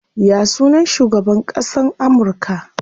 Ya sunan shugaban ƙasan Amurka?